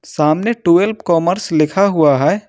सामने twelve commerce लिखा हुआ है।